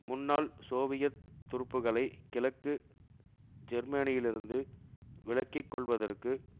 முன்னாள் சோவியத் துருப்புக்களை கிழக்கு ஜேர்மனியிலிருந்து விலக்கி கொள்வதற்கு